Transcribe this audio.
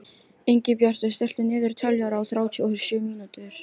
Ingibjartur, stilltu niðurteljara á þrjátíu og sjö mínútur.